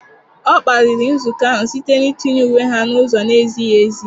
Ọ kparịrị nzukọ ahụ site n'itinye uwe ha n'ụzọ na-ezighi ezi.